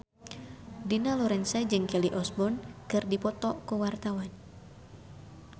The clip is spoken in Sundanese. Dina Lorenza jeung Kelly Osbourne keur dipoto ku wartawan